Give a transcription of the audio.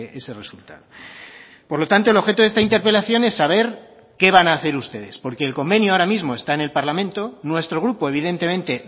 ese resultado por lo tanto el objeto de esta interpelación es saber qué van a hacer ustedes porque el convenio ahora mismo está en el parlamento nuestro grupo evidentemente